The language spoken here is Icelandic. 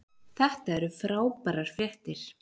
Þetta eru frábærar fréttir.